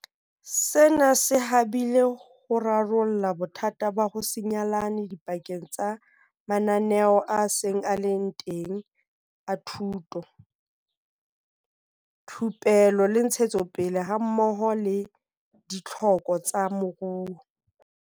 Sena se habile ho rarolla bothata ba ho se nyalane dipakeng tsa mananeo a seng a le teng a thuto, thupelo le ntshetsopele hammoho le ditlhoko tsa moruo.